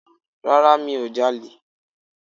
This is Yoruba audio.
Rárá mi ò ja'lè